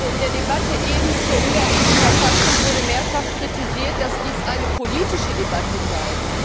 In der Debatte zur ungarischen Verfassung wurde mehrfach kritisiert, dass dies eine politische Debatte sei.